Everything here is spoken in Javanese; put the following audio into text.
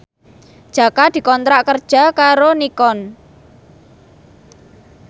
Jaka dikontrak kerja karo Nikon